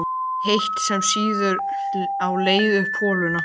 heitt, sem sýður á leið upp holuna.